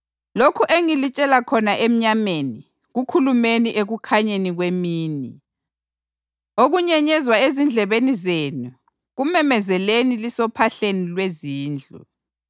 Lokhu engilitshela khona emnyameni kukhulumeni ekukhanyeni kwemini, okunyenyezwa ezindlebeni zenu kumemezeleni lisophahleni lwezindlu.